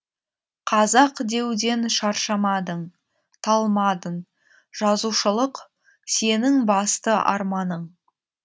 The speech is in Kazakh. қазақ деуден шаршамадың талмадың жазушылық сенің басты арманың